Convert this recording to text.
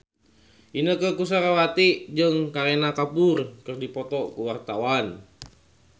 Inneke Koesherawati jeung Kareena Kapoor keur dipoto ku wartawan